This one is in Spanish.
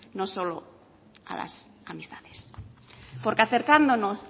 no solo a las amistades porque acercándonos